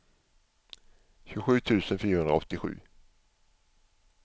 tjugosju tusen fyrahundraåttiosju